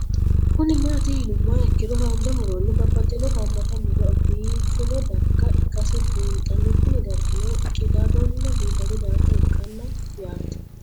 Kuni mati yinumoha ikiro hanja muroni babaxino haamata muro bifino darga ikasi bunxana Kuni dargino qidadona bifado darga ikana yaate